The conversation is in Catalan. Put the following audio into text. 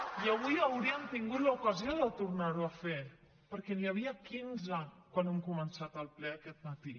i avui haurien tingut l’ocasió de tornar ho a fer perquè n’hi havia quinze quan hem començat el ple aquest matí